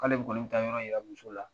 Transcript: K'ale kɔni mi ta yɔrɔ yira muso la.